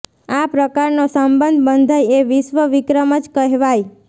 આ પ્રકારનો સંબંધ બંધાય એ વિશ્વ વિક્રમ જ કહેવાય